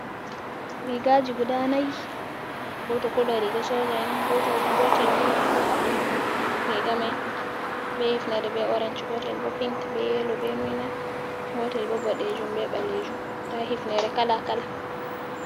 Rigaji guda 4 goto colo riga soja’en ,gotel bo rigamai be hifnere be orance gotel bo pink be yelo be noina gotel bo bodejum be balejum ta hifnere kala kala.